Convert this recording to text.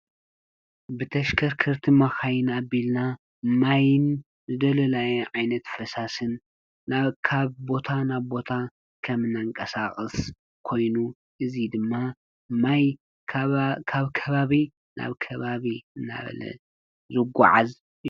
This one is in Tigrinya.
ብተሽከርክርቲ ማኸይን ኣቢልና ማይን ዝደሎላየ ዓይነት ፈሳስን ናብ ካብ ቦታ ናብ ቦታ ከም ናንቀሳቕስ ኮይኑ እዙይ ድማ ማይ ካብ ከባቢ ናብ ከባብ እናበለ ዝጐዓዝ እዩ።